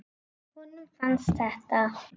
Honum fannst þetta.